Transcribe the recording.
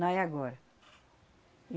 Não é agora.